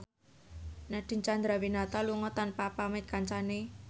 Nadine Chandrawinata lunga tanpa pamit kancane